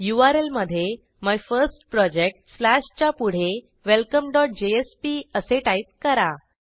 URL मधे my first project slash च्या पुढे welcomeजेएसपी असे टाईप करा